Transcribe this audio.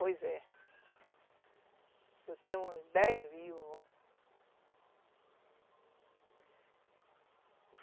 Pois é. Eu tenho uns dez vivos.